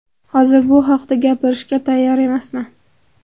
Hozir bu haqda gapirishga tayyor emasman.